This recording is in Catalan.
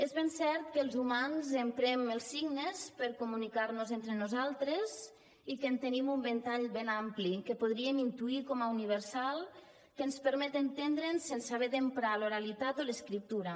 és ben cert que els humans emprem els signes per comunicar nos entre nosaltres i que en tenim un ventall ben ampli que podríem intuir com a universal que ens permet entendre’ns sense haver d’emprar l’oralitat o l’escriptura